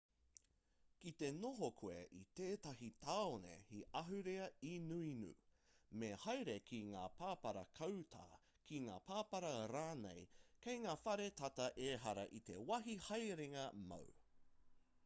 kite noho koe i tētahi tāone he ahurea inuinu me haere ki ngā pāpara kāuta ki ngā pāpara rānei kei ngā whare tata ehara i te wāhi haerenga māu